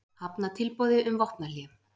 Hafna tilboði um vopnahlé